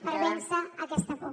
per vèncer aquesta por